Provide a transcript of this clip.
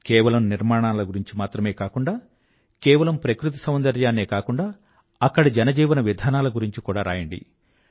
కేవలం నిర్మాణాల గురించే కాకుండా కేవలం ప్రకృతి సౌందర్యాన్నే కాకుండా అక్కడి జనజీవన విధానాల గురించి కూడా రాయండి